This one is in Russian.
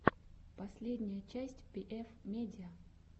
последняя часть пиэф медиа